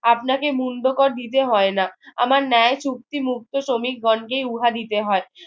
আপনাকে মুন্ডকর দিতে হয় না আমার ন্যায় চুক্তি মুক্ত শ্রমিকগণকে উহা দিতে হয়